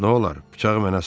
Nolar, bıçağı mənə sat?